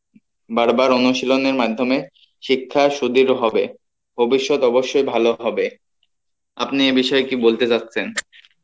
বার বার অনুশীলনের মাধ্যমে শিক্ষা হবে ভবিষৎ অব্যশই ভালো হবে, আপনি এই বিষয় কী বলতে যাচ্ছেন?